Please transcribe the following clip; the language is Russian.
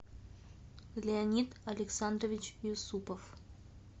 леонид александрович юсупов